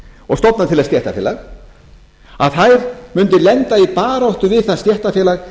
og stofna til þess stéttarfélag að þær mundu lenda í baráttu við það stéttarfélag